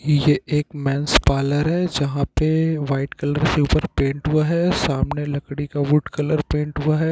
''यह एक men's parlour है जहापे वाइट कलर के उपर पेन्ट हुआ हैं। सामने लकड़ी का वुड कलर पेन्ट हुआ हैं।''